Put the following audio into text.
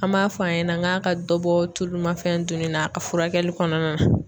An b'a fɔ a ɲɛna ŋ'a ka dɔ bɔ tulumafɛn duuni na a furakɛli kɔnɔna na.